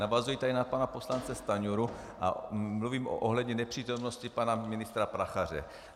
Navazuji tady na pana poslance Stanjuru a mluvím ohledně nepřítomnosti pana ministra Prachaře.